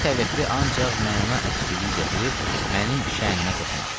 Belə təvəqqi ancaq məna əskiliyi gətirib mənim şənimə toxunar.